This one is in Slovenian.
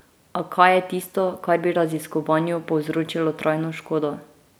A kaj je tisto, kar bi raziskovanju povzročilo trajno škodo?